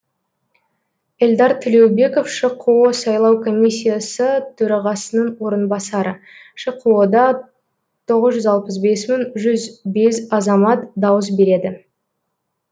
эльдар төлеубеков шқо сайлау комиссиясы төрағасының орынбасары шқо да тоғыз жүз алпыс бес мың жүз бес азамат дауыс береді